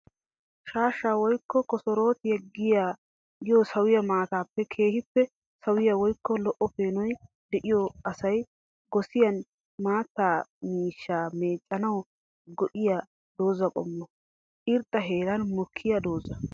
Shaashsha woykko kossorootiya giyo sawo maatay keehippe sawiya woykko lo'o peenoy de'iyo asay gossiyanne maata miishsha meecanawu go'iya doozza qommo. Irxxa heeran mokkiya dooza.